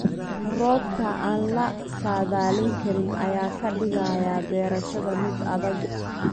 Roobabka aan la saadaalin karin ayaa ka dhigaya beerashada mid adag.